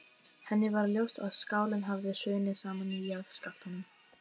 Henni varð ljóst að skálinn hafði hrunið saman í jarðskjálftunum.